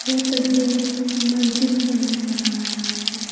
यह तस्वीर मस्जिद का नजारा है।